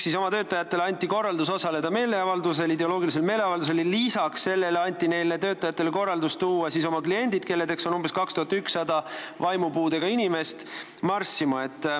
Seega oma töötajatele anti korraldus osaleda ideoloogilisel meeleavaldusel ja lisaks anti töötajatele korraldus tuua marssima ka oma kliendid, kelleks on umbes 2100 vaimupuudega inimest.